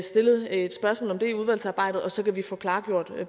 stillet et spørgsmål om det i udvalgsarbejdet og så kan vi få klarlagt